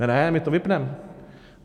Ne ne, my to vypneme!